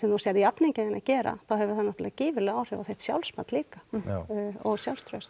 þú sérð jafningja þína gera þá hefur það náttúrulega gífurleg áhrif á þitt sjálfsmat líka og sjálfstraust